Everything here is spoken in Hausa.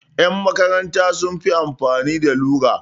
Ƴan makaranta sun fi amfani da lura.